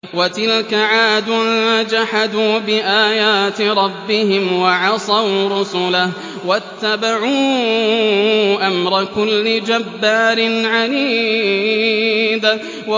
وَتِلْكَ عَادٌ ۖ جَحَدُوا بِآيَاتِ رَبِّهِمْ وَعَصَوْا رُسُلَهُ وَاتَّبَعُوا أَمْرَ كُلِّ جَبَّارٍ عَنِيدٍ